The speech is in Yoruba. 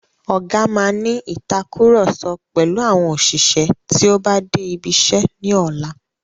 Ọgá máa ní ìtàkurọ̀sọ pẹ̀lú àwọn òṣìṣẹ́ tí o bá dé ibi iṣẹ́ ní ọlá.